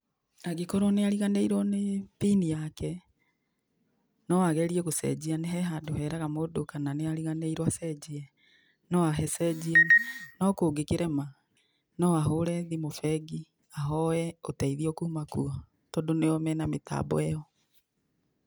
Angĩkorwo nĩ ariganĩiruo nĩ pin yake, no agerie gũcenjia, he handũ heraga mũndũ kana nĩ ariganĩirwo acenjie no agĩcenjie no kũngĩkĩrema, no ahũre thimũ bengi ahoe ũteithio kuma kuo tondũ nĩo mena mĩtambo ĩyo.